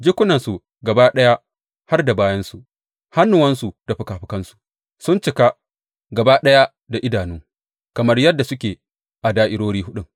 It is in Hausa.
Jikunansu gaba ɗaya, har da bayansu, hannuwansu da fikafikansu, sun cika gaba ɗaya da idanu, kamar yadda suke a da’irori huɗun.